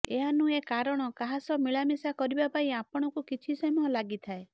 ଏହା ନୁହେଁ କାରଣ କାହା ସହ ମିଳାମିଶା କରିବା ପାଇଁ ଆପଣଙ୍କୁ କିଛି ସମୟ ଲାଗିଥାଏ